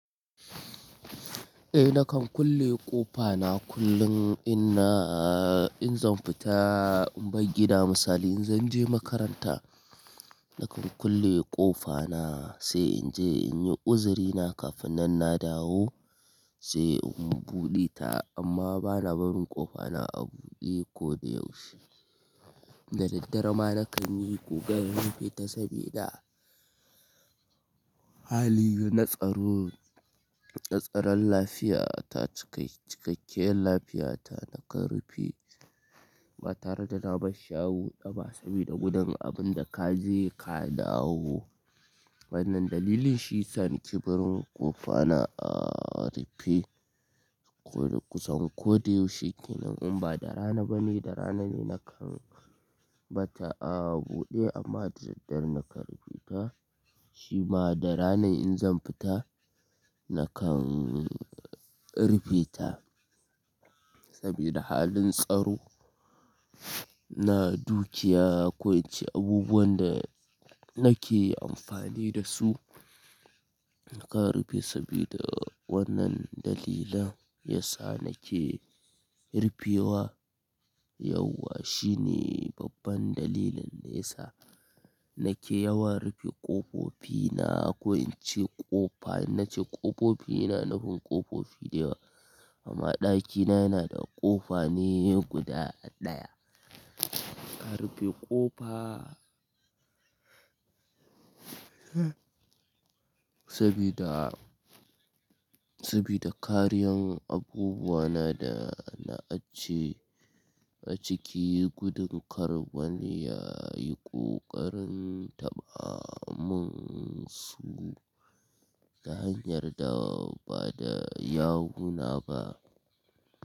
Eh nakan kulle ƙofa na kullun inna in zan fita in bar gida misali in zan je makaranta nakan kulle ƙofa na se in je in yi uzuri na kafin nan na dawo sai in buɗe ta amma bana barin ƙofa na a buɗe ko da yaushe. Da daddare ma nakan yi ƙokarin rufe ta sabida hali na tsaro na tsaron lafiya ta cike cikakkiyar lafiya ta nakan rufe ta ba tare da na bar shi a buɗa ba sabida gudun abun da ka je ka dawo. Wannan dalili shi yisa nake barin ƙofa na a rufe kusan ko da yaushe kenan in ba da rana bane da rana ne nakan batta a buɗe amma da daddare nakan rufe ta shi ma da rana in zan fita nakan rufe ta sabida halin tsaro na dukiya ko ince abubuwan da nake amfani da su nakan rufe sabida wannan dalilin yasa nake rufewa yauwa shine babban dalilin da yasa nake yawan rufe ƙofofi na ko in ce ƙofa in nace ƙofofi ina nufin ƙofofi da yawa amma ɗakina yana da ƙofa ne guda ɗaya. A rufe ƙofa sabida, sabida kariyan abubuwa na da na ajiye a ciki gudun kar wani ya yi ƙoƙarin taɓa mun su ta hanyar da ba da yawuna ba.